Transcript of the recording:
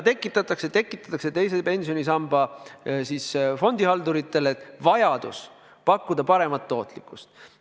Aga tekitatakse teise pensionisamba fondihalduritele vajadus pakkuda paremat tootlikkust.